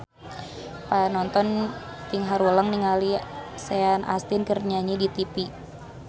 Panonton ting haruleng ningali Sean Astin keur nyanyi di tipi